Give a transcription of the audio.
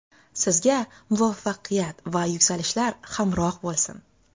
Sizga muvaffaqiyat va yuksalishlar hamroh bo‘lsin!